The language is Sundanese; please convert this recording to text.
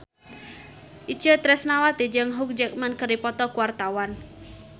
Itje Tresnawati jeung Hugh Jackman keur dipoto ku wartawan